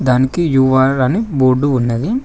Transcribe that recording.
దానికి యు_ఆర్ అని బోర్డు ఉన్నది.